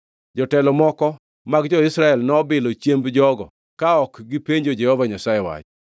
Jotelo moko mag jo-Israel nobilo chiemb jogo ka ok gipenjo Jehova Nyasaye wach.